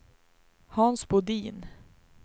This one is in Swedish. Hans Bodin